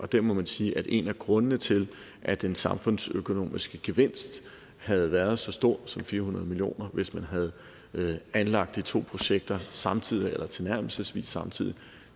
der må man sige at en af grundene til at den samfundsøkonomiske gevinst havde været så stor som fire hundrede million kr hvis man havde anlagt de to projekter samtidig eller tilnærmelsesvis samtidig